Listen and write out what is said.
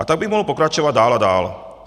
A tak bych mohl pokračovat dál a dál.